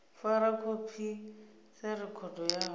fara khophi sa rekhodo yawe